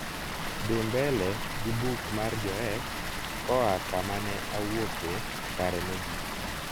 dhi mbele gi buk mar joes koa kama ne awuoke kare mogik